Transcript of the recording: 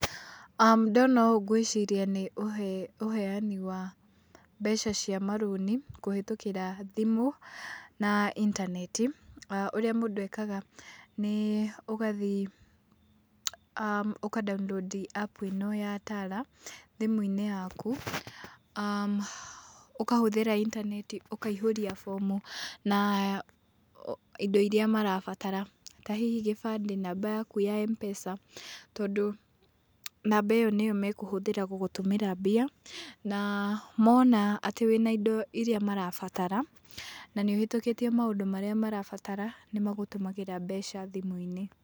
Ndona ũũ ngwĩciria nĩ ũheani wa mbeca cia marũni, kũhetũkĩra thimũ na intaneti. Ũrĩa mũndũ ekaga nĩ ũgathi ũka download app ĩno ya tara thimĩ-inĩ yaku, ũkahũthĩra intaneti ũkaihũria bomu na indo iria marabatara ta hihi gĩbandĩ na namba yaku ya M-pes,a tondũ namba ĩyo nĩyo mekũhũthĩra gũgũtũmĩra mbia na mona atĩ wĩna indo iria marabatara na nĩ ũhetũkĩtie maũndũ marĩa marabatara nĩ magũtũmagĩra mbeca thimũ-inĩ.